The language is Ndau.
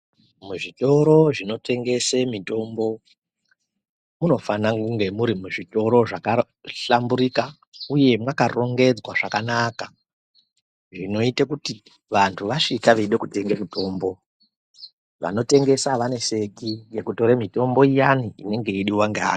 Muzvitoro zvinotengese mutombo munofana kunge murimuzvitoro zvakahlamburika uye mwakarongedzwa zvakanaka xvinoite kuti vantu vasvika veide kutenge mutombo vanotengesa avaneseki ngekutore mutombo iyani inenge yeiidiwa ngeantu.